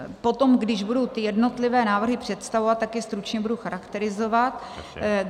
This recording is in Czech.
Potom, když budu ty jednotlivé návrhy představovat, tak je stručně budu charakterizovat.